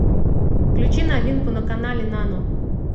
включи новинку на канале нано